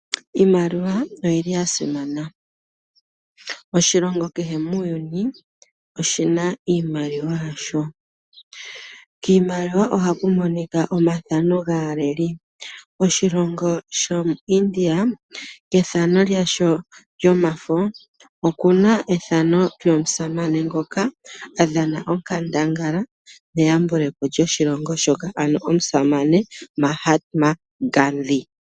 Iimaliwa oyili yasimana. Oshilongo kehe muuyuni oshina iimaliwa yasho, kiimaliwa ohaku monika omathano gaaleli. Oshilongo shomuIndia kethano lyasho lyomafo oku na ethano lyomusamane ngoka adhana onkandangala meyambule po lyoshilongo shoka ano omusamane Mahtma Gandhi.